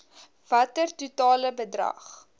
watter totale bedrag